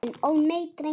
Ó, nei, drengur minn.